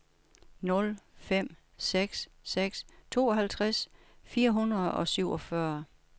nul fem seks seks tooghalvtreds fire hundrede og syvogfyrre